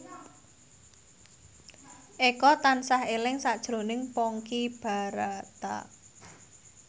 Eko tansah eling sakjroning Ponky Brata